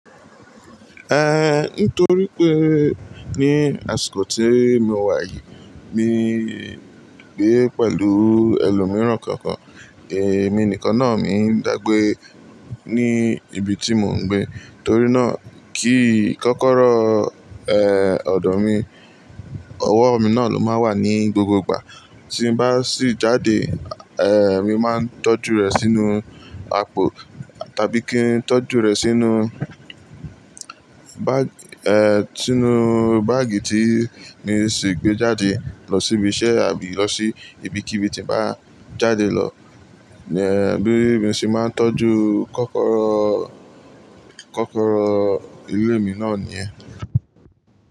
Eh, nítorí pé ní àsìkò tí mo wà yìí, mi ń gbé pẹ̀lú ẹlòmíràn kankan. Èmi nìkan náà mi ń dàgbé ní ibi tí mò ń gbé. Torí náà kí kọ́kọ́rọ́, eh, ọ̀dọ̀ mi, ọwọ́ mi náà ló máa wà ní gbogbo ìgbà. Tí ń bá sì jáde, eh, mi máa ń tọ́jú rẹ̀ sínú àpò tàbí kí n tọ́jú rẹ̀ sínú bá, eh, sínú báàgì tí mi sì gbé jáde lọ síbi iṣẹ́ àbí lọ sí ibi kí ibi tí màá jáde lọ. Eh, bí mi ṣe máa ń tọ́jú kọ́kọ́rọ́, kọ́kọ́rọ́ ilé mi náà ní yẹn.